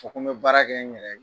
Fɔ ko baara kɛ n yɛrɛ ye